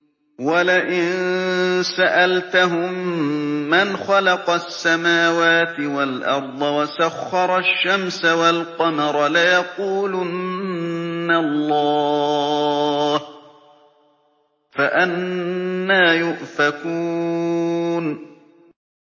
وَلَئِن سَأَلْتَهُم مَّنْ خَلَقَ السَّمَاوَاتِ وَالْأَرْضَ وَسَخَّرَ الشَّمْسَ وَالْقَمَرَ لَيَقُولُنَّ اللَّهُ ۖ فَأَنَّىٰ يُؤْفَكُونَ